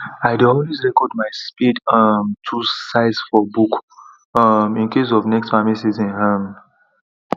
i dey always record my spade um tools size for book um incase of next farming season um